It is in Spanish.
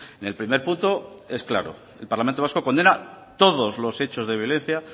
en el primer punto es claro el parlamento vasco condena todos los hechos de violencia